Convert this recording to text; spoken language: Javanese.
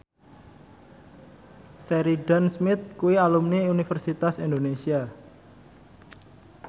Sheridan Smith kuwi alumni Universitas Indonesia